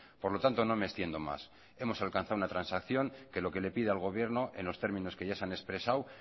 por lo tanto no me extiendo más hemos alcanzado una transacción que lo que le pide al gobierno en los términos que ya se han expresado